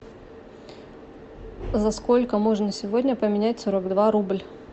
за сколько можно сегодня поменять сорок два рубль